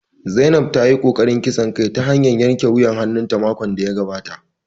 Zainab ta yi ƙoƙarin kisan kai ta hanyar yanke wuyar hannun ta makon da ya gabata